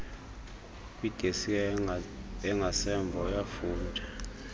kwidesika engasemva uyafunda